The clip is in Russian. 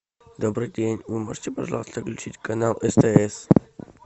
добрый день вы можете пожалуйста включить канал стс